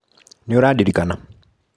Nĩũradirikana?